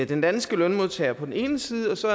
den danske lønmodtager på den ene side og så